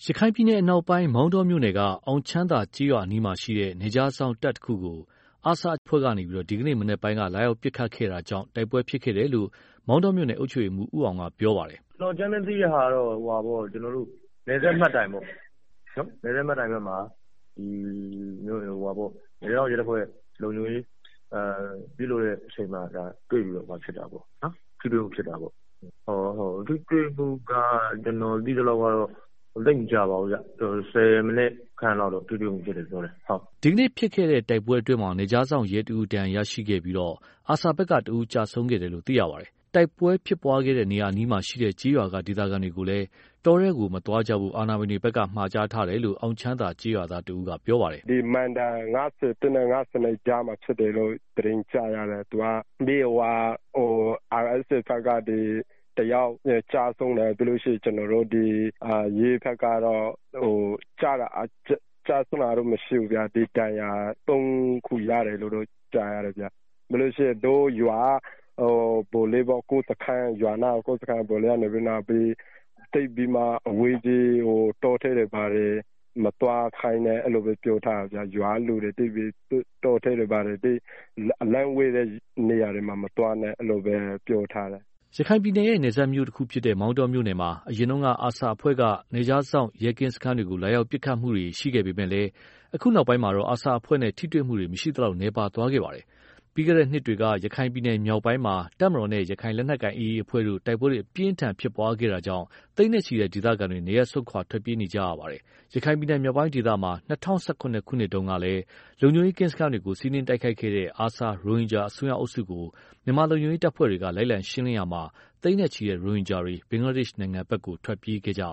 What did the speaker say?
ရခိုင်ပြည်နယ် အနောက်ပိုင်း မောင်တောမြို့နယ်က အောင်ချမ်းသာကျေးရွာအနီးမှာ ရှိတဲ့ နယ်ခြားစောင့်တပ်တစ်ခုကို ARSA အစွန်းရောက်အဖွဲ့က ဒီကနေ့မနက်ပိုင်းက လာရောက်ပစ်ခတ်တာကြောင့် တိုက်ပွဲဖြစ်ပွားခဲ့တယ်လို့ မောင်တောမြို့နယ်အုပ်ချုပ်ရေးမှူး ဦးအောင်ရဲ့ ပြောပါတယ်။ “ကျနော်အကြမ်းဖျင်း သိရတာကတော့ နယ်စပ်မှတ်တိုင်ပေါ့။ အဲဒီမှာ နယ်ခြား စောင့်ရဲတပ်ဖွဲ့က လုံခြုံရေးယူနေတဲ့အချိန် တွေ့ပြီးတော့ ထိတွေ့မှု ဖြစ်တာပေါ့။ ထိတွေ့မှုကတော့ ကျနော်သိသလောက် ဆယ်မိနစ်ခန့်လောက် ထိတွေ့မှု ရှိတယ်လို့ ပြောပါတယ်။” ဒီကနေ့ဖြစ်ပွားခဲတဲ့ တိုက်ပွဲအတွင်းမှာ နယ်ခြားစောင့်ရဲတစ်ဦး ဒဏ်ရာရရှိခဲ့ပြီး ARSA ဘက်က တစ်ဦးကျဆုံးခဲ့တာလည်း ဖြစ်ပါတယ်။ တိုက်ပွဲဖြစ်ပွားခဲ့တဲ့ နေရာအနီးမှာ ရှိတဲ့ ကျေးရွာက ဒေသခံတွေကိုလည်း တောထဲတွေကို မသွားဖို့ အာဏာပိုင်တွေဘက်က မှာကြားထားတယ်လို့ အောင်ချမ်းသာ ကျေးရွာသားတစ်ဦးကပြောပါတယ်။ “သူက မိုင်တိုင် ၅၁ နဲ့ ၅၂ ကြားမှာ ဖြစ်တယ်လို့ သတင်းကြားရတယ်။ ARSA ဘက်က တစ်ယောက်ကျဆုံးတယ်။ ပြီးတော့ ကျနော်တို့ ရဲဘက်ကတော့ ကျဆုံးတာကတော့ မရှိဘူး။ ဒါပေမဲ့ တစ်ယောက်ကတော့ ဒဏ်ရာရသွားတယ်လို့ကြားတယ်။ ပြီးတော့ ရွာနားက စခန်းက ဗိုလ်လေးကတော့ သိပ်ပြီးတော့ အဝေးကြီး တောထဲတွေ၊ ဘာတွေ မသွားကြဖို့ ရွာကလူတွေကို အလှမ်းဝေးတဲ့ တောထဲတွေကို မသွားဖို့ အဲဒီလိုတော့ မှာထားတယ်။” ရခိုင်ပြည်နယ်ရဲ့ နယ်စပ်မြို့တစ်ခုဖြစ်တဲ့ မောင်တောမြို့နယ်မှာ အရင်က ARSA အဖွဲ့က နယ်ခြားစောင့်ရဲကင်းစခန်းတွေကို လာရောက်ပစ်ခတ်တာတွေ ရှိခဲ့ပေမဲ့လည်း အခုနောက်ပိုင်းမှာတော့ ARSA အဖွဲ့နဲ့ ထိတွေ့မှု မရှိသလောက် နည်းပါးသွားခဲ့တာလည်း ဖြစ်ပါတယ်။ ပြီးခဲ့တဲ့ နှစ်တွေက ရခိုင်ပြည်နယ်မြောက်ပိုင်းမှာ တပ်မတော်နဲ့ ရခိုင်လက်နက်ကိုင် AA အဖွဲ့တို့ တိုက်ပွဲအပြင်းအထန်ဖြစ်ပွားခဲ့တာကြောင့် သိန်းနဲ့ချီတဲ့ ဒေသခံတွေ နေရပ်စွန့်ခွာထွက်ပြေးနေကြရတာလည်း ဖြစ်ပါတယ်။ ရခိုင်ပြည်နယ် မြောက်ပိုင်းဒေသမှာ ၂၀၁၇ ခုနှစ်တုန်းက လုံခြုံရေးကင်းစခန်းတွေကို စီးနင်းတိုက်ခိုက်ခဲ့တဲ့ ARSA ရိုဟင်ဂျာ အစွန်းရောက်အုပ်စုကို မြန်မာလုံခြုံရေးတပ်ဖွဲ့ဝင်တွေက လိုက်လံရှင်းလင်းရာမှာ သိန်းနဲ့ချီတဲ့ ရိုဟင်ဂျာတွေ ဘင်္ဂလားဒေ့ရှ် နိုင်ငံဘက်ကို ထွက်ပြေးသွားကြရ